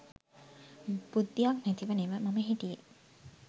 බුද්ධියක් නැතිව නෙව මම හිටියේ.